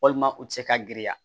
Walima u tɛ se ka girinya